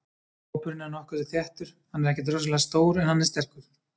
Hópurinn er nokkuð þéttur, hann er ekkert rosalega stór en hann er sterkur.